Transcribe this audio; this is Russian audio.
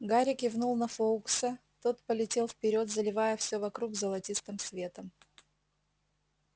гарри кивнул на фоукса тот полетел вперёд заливая все вокруг золотистым светом